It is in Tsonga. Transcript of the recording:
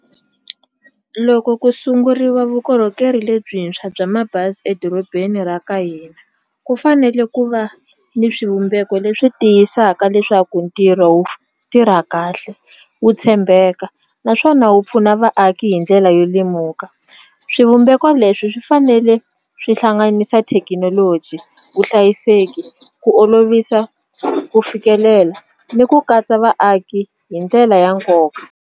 Loko ku sunguriwa vukorhokeri lebyintshwa bya mabazi edorobeni ra ka hina ku fanele ku va ni swivumbeko leswi tiyisaka leswaku ntirho wu tirha kahle wu tshembeka naswona wu pfuna vaaki hi ndlela yo lemuka swivumbeko leswi swi fanele swi hlanganisa thekinoloji vuhlayiseki ku olovisa ku fikelela ni ku katsa vaaki hi ndlela ya nkoka.